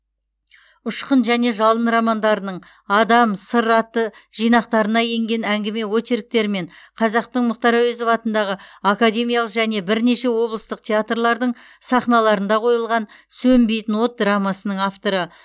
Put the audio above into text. ұшқын және жалын романдарының адам сыр атты жинақтарына енген әңгіме очерктері мен қазақтың мұхтар әуезов атындағы академиялық және бірнеше облыстық театрлардың сахналарында қойылған сөнбейтін от драмасының авторы